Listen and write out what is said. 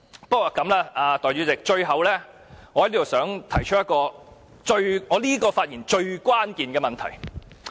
不過，代理主席，最後我想在這次發言中提出一個最關鍵的問題。